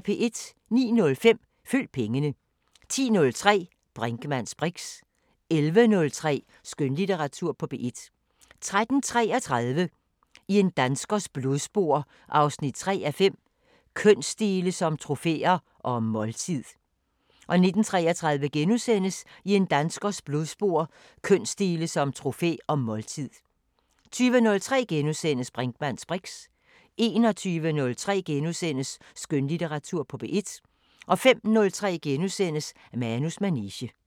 09:05: Følg pengene 10:03: Brinkmanns briks 11:03: Skønlitteratur på P1 13:33: I en danskers blodspor 3:5 – Kønsdele som trofæer – og måltid 19:33: I en danskers blodspor 3:5 – Kønsdele som trofæer – og måltid * 20:03: Brinkmanns briks * 21:03: Skønlitteratur på P1 * 05:03: Manus manege *